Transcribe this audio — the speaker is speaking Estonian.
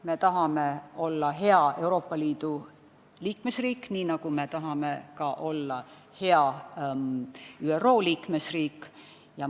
Me tahame olla hea Euroopa Liidu liikmesriik, nii nagu me tahame olla ka hea ÜRO liikmesriik.